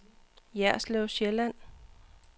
Jerslev Sjælland